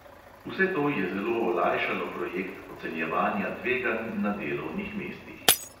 Vse to je zelo olajšalo projekt ocenjevanja tveganj na delovnih mestih.